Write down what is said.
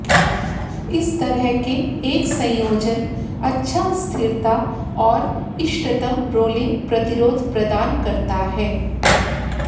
इस तरह के एक संयोजन अच्छा स्थिरता और इष्टतम रोलिंग प्रतिरोध प्रदान करता है